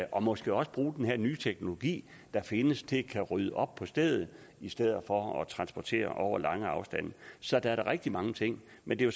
og måske også bruge den her nye teknologi der findes til at kunne rydde op på stedet i stedet for at transportere over lange afstande så der er da rigtig mange ting men det er